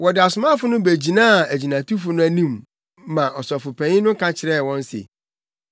Wɔde asomafo no begyinaa agyinatufo no anim ma Ɔsɔfopanyin no ka kyerɛɛ wɔn se,